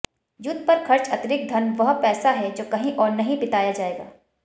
युद्ध पर खर्च अतिरिक्त धन वह पैसा है जो कहीं और नहीं बिताया जाएगा